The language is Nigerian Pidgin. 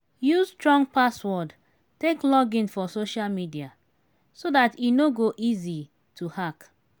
use strong password take login for social media so dat e no go easy to hack